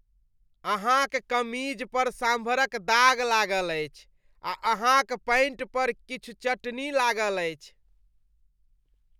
अहाँक कमीज पर सांभरक दाग लागल अछि आ अहाँक पैंट पर किछु चटनी लागल अछि।